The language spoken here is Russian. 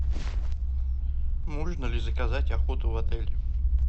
можно ли заказать охоту в отеле